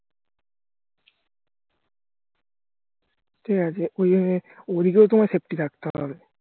ঠিক আছে ওদিকেও তোমায় safety থাকতে হবে